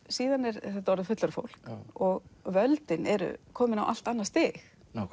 síðan er þetta orðið fullorðið fólk og völdin eru komin á allt annað stig